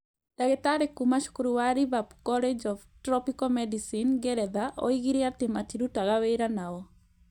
Ndagĩtarĩ kuuma cukuru wa Liverpool College of Tropical Medicine, Ngeretha oigire atĩ matirutaga wĩra na o.